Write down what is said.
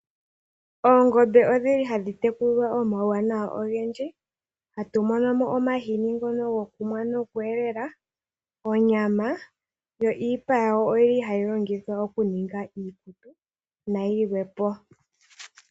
Oongombe odhili hadhi tekulilwa omauwanawa ogendji, hatu mono mo omahini ngono gokunwa noku e lela, onyama, yo iipa yawo oyili hayi longithwa oku ninga iikutu nayilwe po.